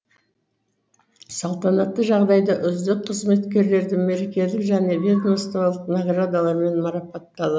салтанатты жағдайда үздік қызметкерлерді мерекелік және ведомстволық наградалармен марапаттал